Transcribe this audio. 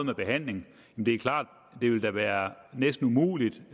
behandling det er klart at det vil være næsten umuligt